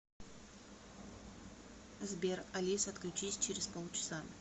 сбер алиса отключись через полчаса